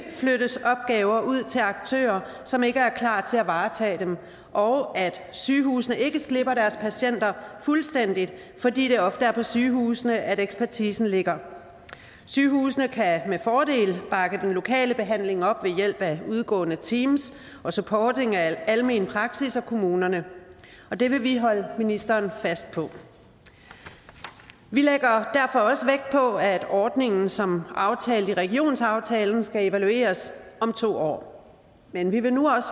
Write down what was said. flyttes opgaver ud til aktører som ikke er klar til at varetage dem og at sygehusene ikke slipper deres patienter fuldstændig fordi det ofte er på sygehusene ekspertisen ligger sygehusene kan med fordel bakke den lokale behandling op ved hjælp af udgående teams og supporting af almen praksis og kommunerne og det vil vi holde ministeren fast på vi lægger derfor også vægt på at ordningen som aftalt i regionsaftalen skal evalueres om to år men vi vil nu også